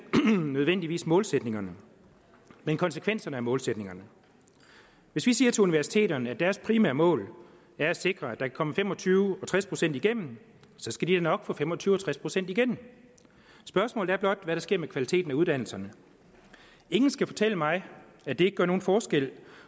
nødvendigvis målsætningerne men konsekvenserne af målsætningerne hvis vi siger til universiteterne at deres primære mål er at sikre at der kan komme fem og tyve og tres procent igennem skal de nok få fem og tyve procent og tres procent igennem spørgsmålet er blot hvad der sker med kvaliteten af uddannelserne ingen skal fortælle mig at det ikke gør nogen forskel